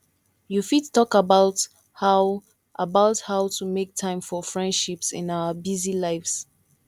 you fit talk about how about how to make time for friendships in our busy lives